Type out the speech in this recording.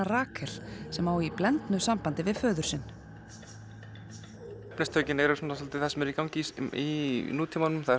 Rakel sem á í blendnu sambandi við föður sinn efnistökin eru svona svolítið það sem er í gangi í nútímanum það